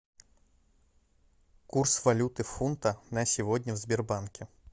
курс валюты фунта на сегодня в сбербанке